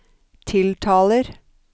tiltaler